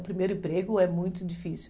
O primeiro emprego é muito difícil.